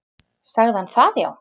Sagði hann það já.